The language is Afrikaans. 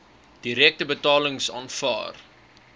direkte betalings aanvaar